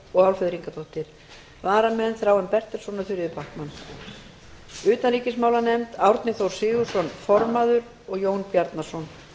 og álfheiður ingadóttir varamenn eru þráinn bertelsson og þuríður backman utanríkismálanefnd árni þór sigurðsson formaður og jón bjarnason